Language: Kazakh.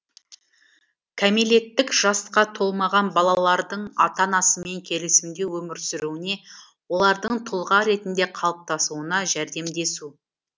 кәмелеттік жасқа толмаған балалардың ата анасымен келісімде өмір сүруіне олардың тұлға ретінде қалыптасуына жәрдемдесу